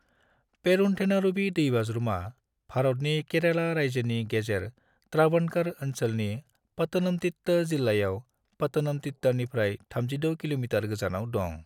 पेरुन्थेनारुवी दैबाज्रुमा भारतनि केरेला रायजोनि गेजेर त्रावणकर ओनसोलनि पातनमतिट्टा जिल्लायाव पातनमतिट्टानिफ्राय 36 किल'मितार गोजानाव दं।